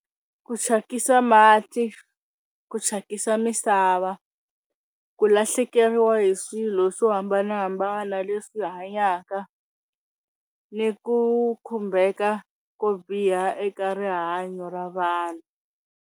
Ku thyakisa mati ku thyakisa misava ku lahlekeriwa hi swilo swo hambanahambana leswi hanyaka ni ku khumbeka ko biha eka rihanyo ra vanhu.